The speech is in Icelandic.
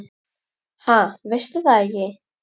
Ha, veistu það ekki?